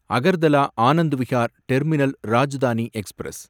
Agartala Anand Vihar terminal Rajdhani express